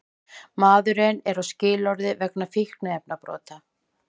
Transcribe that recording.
Maðurinn er á skilorði vegna fíkniefnabrota